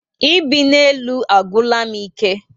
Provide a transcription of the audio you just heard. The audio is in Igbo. Ibi na élú agwura m ike